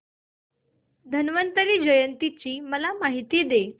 धन्वंतरी जयंती ची मला माहिती दे